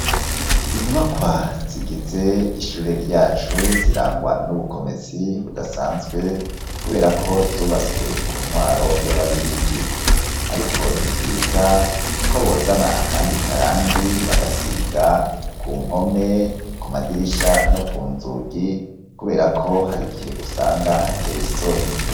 Inyubakwa zigize ishure ryacu zirangwa n'ubukomezi budasanzwe kuberako zubatswe ku ntwaro y'ababirigi, ariko nivyiza ko bozana akandi karangi bagasiga ku mpome, kumadirisha no kunzugi kubera ko har'igihe usanga hateye isoni.